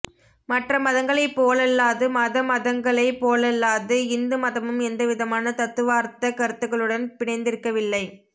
மற்ற மதங்களைப் போலல்லாது மத மதங்களைப் போலல்லாது இந்து மதமும் எந்தவிதமான தத்துவார்த்தக் கருத்துக்களுடன் பிணைந்திருக்கவில்லை